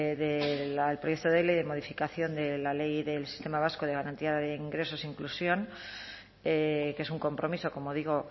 del proyecto de ley de modificación de la ley del sistema vasco de garantía de ingresos e inclusión que es un compromiso como digo